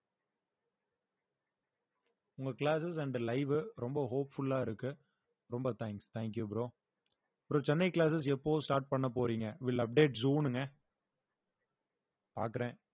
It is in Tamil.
உங்க classes and live வு ரொம்ப hopeful ஆ இருக்கு ரொம்ப thanks thank you bro அப்புறம் சென்னை classes எப்போ start பண்ண போறீங்க will update soon ங்க பார்க்குறேன்